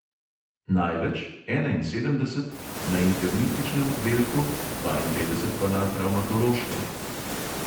Največ, enainsedemdeset, na internističnem oddelku, dvainpetdeset pa na travmatološkem.